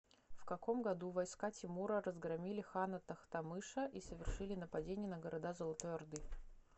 в каком году войска тимура разгромили хана тохтамыша и совершили нападение на города золотой орды